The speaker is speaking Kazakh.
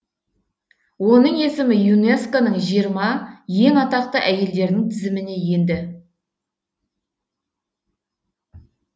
оның есімі юнеско ның жиырма ең атақты әйелдерінің тізіміне енді